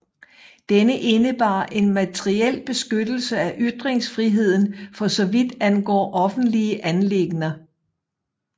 Denne indebar en materiel beskyttelse af ytringsfriheden for så vidt angår offentlige anliggender